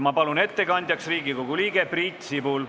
Ma palun ettekandjaks Riigikogu liikme Priit Sibula.